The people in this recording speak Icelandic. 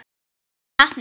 Hinir heppnu?